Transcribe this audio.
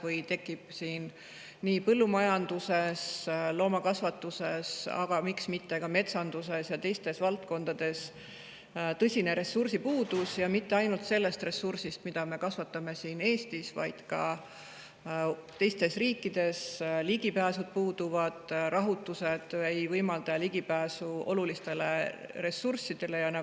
Näiteks, meil tekib põllumajanduses ja loomakasvatuses, aga miks mitte ka metsanduses ja teistes valdkondades tõsine ressursipuudus, ja mitte ainult selle ressursi puudus, mida me kasvatame siin Eestis, vaid puudub ligipääs ka teistes riikides, rahutused ei võimalda olulistele ressurssidele ligi pääseda.